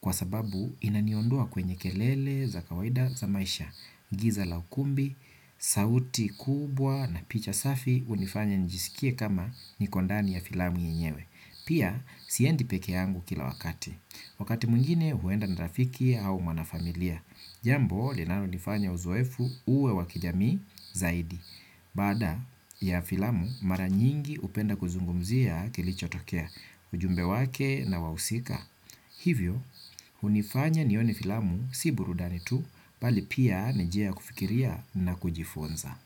kwa sababu inaniondoa kwenye kelele za kawaida za maisha, giza la ukumbi, sauti kubwa na picha safi hunifanya nijisikie kama niko ndani ya filamu yenyewe. Pia, siendi peke yangu kila wakati. Wakati mwingine huenda na rafiki au mwanafamilia. Jambo, linanonifanya uzoefu uwe wa kijamii zaidi. Baada ya filamu mara nyingi hupenda kuzungumzia kilichotokea. Ujumbe wake na wahusika hivyo, hunifanya nione filamu si burudani tu, bali pia ni njia ya kufikiria na kujifunza.